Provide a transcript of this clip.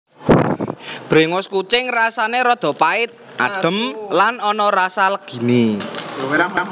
Bréngos kucing rasané rada pait adhem lan ana rasa leginé